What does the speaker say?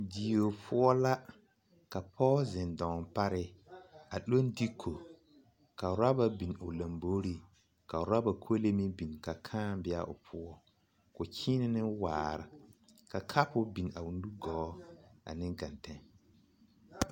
Die poɔ la ka pɔge zeŋ daŋaa pare a leŋ diko ka rɔɔba biŋ o lomboreŋ ka rɔɔba kolee meŋ biŋ ka kaa be a o poɔ ka o kyiinɛ ne waare ka kapu biŋ a o nugɔɔ ane geŋteŋ.